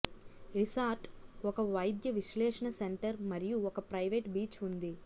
resort ఒక వైద్య విశ్లేషణ సెంటర్ మరియు ఒక ప్రైవేట్ బీచ్ ఉంది